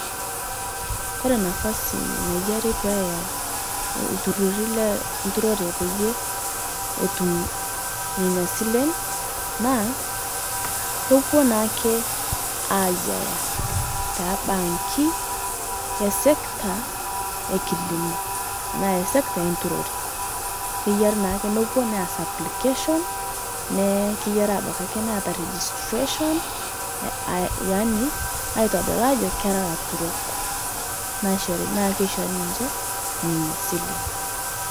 Kore nafasi nayarii peeya ltururii lenturoree peyie etum nenia silen naa kopuo naake aiyaa te bankii e sector ekilimoo tanaa sector enturoree keyarii naake nopuo naas application naa keyarii abaki akee neata registeration aa yani aitodol ajoo keraa laturok. Naa keishori ninshe nenia silen.